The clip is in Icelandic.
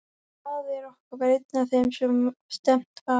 Faðir okkar var einn af þeim sem stefnt var.